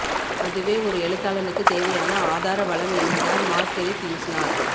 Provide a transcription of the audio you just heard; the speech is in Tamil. அதுவே ஒரு எழுத்தாளனுக்குத் தேவையான ஆதார வளம் என்கிறார் மார்கெரித் யூர்ஸ்னார்